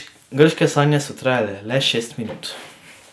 Grške sanje so trajale le šest minut.